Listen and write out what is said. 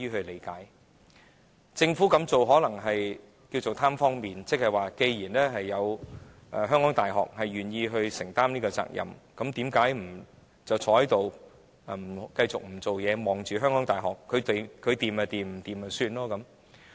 可能政府這樣做是"貪方便"，即既然香港大學願意承擔這個責任，那便不再在這方面工作，只倚靠香港大學處理，它成功與否也不會太關心。